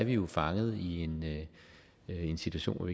jo fanget i en situation hvor